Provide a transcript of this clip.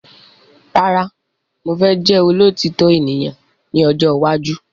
Rárá mo fẹ́ jẹ́ olótitọ ènìyàn ní ọjọ́ iwájú